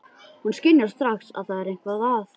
Hún skynjar strax að það er eitthvað að.